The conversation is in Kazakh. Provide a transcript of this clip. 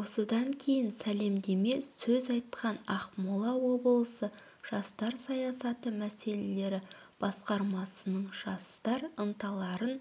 осыдан кейін сәлемдеме сөз айтқан ақмола облысы жастар саясаты мәселелері басқармасының жастар ынталарын